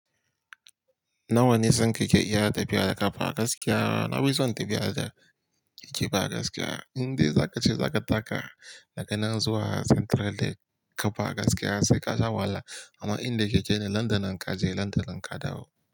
Nawa nisan kake iya tafiya a kafa gaskiya? Na fi son tafiya da keke ba gaskiya. Inde za ka ce za ka taka daga nan zuwa Central Lek kafa gaskiya sai ka sha wala. Amma inda kike ne, Londonan kaje Londonan kadawo.